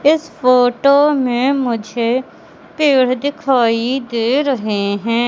इस फोटो में मुझे पेड़ दिखाई दे रहे हैं।